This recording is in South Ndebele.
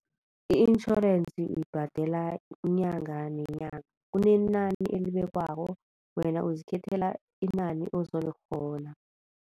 I-intjhorensi uyibhadela inyanga nenyanga. Kunenani elibekwako wena uzikhethela inani ozolikghona.